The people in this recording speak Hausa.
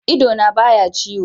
Idona ba ya ciwo.